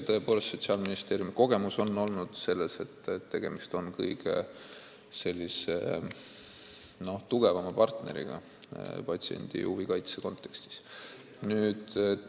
Tõepoolest, Sotsiaalministeeriumi kogemus on olnud see, et tegemist on kõige tugevama partneriga patsientide huvide kaitse kontekstis.